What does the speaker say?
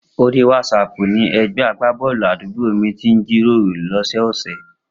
Orí wásaàpù ni ẹgbẹ́ agbábọ́ọ̀lù àdúgbò mi ti ń jíròrò lọ́sọ́ọ̀ọ̀sẹ̀.